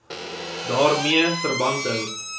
daarmee verband hou